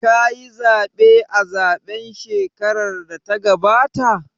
Ka yi zaɓe a zaɓen shekarar da ta gabata?